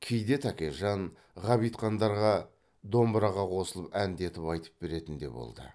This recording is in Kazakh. кейде тәкежан ғабитхандарға домбыраға қосылып әндетіп айтып беретін де болды